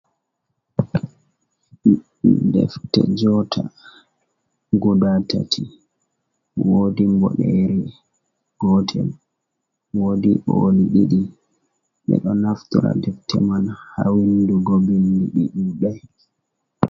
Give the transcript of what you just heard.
Defte jota guda tati wodi boɗere gotel, wodi ɓoli ɗiɗi, ɓe ɗo naftira deftere man ha vindugo vindi ɗi ɗuɗai.